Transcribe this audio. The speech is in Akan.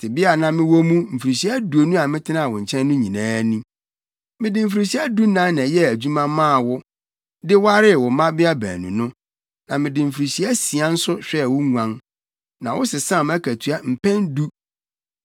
Tebea a na mewɔ mu mfirihyia aduonu a metenaa wo nkyɛn no nyinaa ni. Mede mfirihyia dunan na ɛyɛɛ adwuma maa wo, de waree wo mmabea baanu no. Na mede mfirihyia asia nso hwɛɛ wo nguan, na wosesaa mʼakatua mpɛn du.